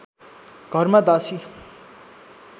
घरमा दासी